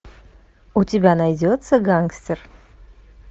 у тебя найдется гангстер